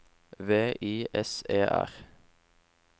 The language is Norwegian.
V I S E R